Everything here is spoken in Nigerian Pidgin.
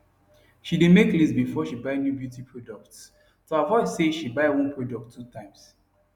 she dae make list before she buy new beauty products to avoid say she buy one product two times